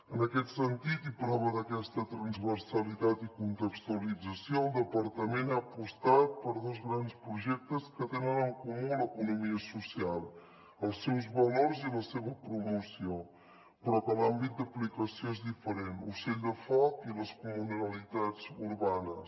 en aquest sentit i prova d’aquesta transversalitat i contextualització el departament ha apostat per dos grans projectes que tenen en comú l’economia social els seus valors i la seva promoció però que l’àmbit d’aplicació és diferent ocell de foc i les comunalitats urbanes